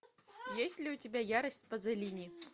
есть ли у тебя ярость пазолини